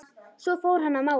Svo fór hann að mála.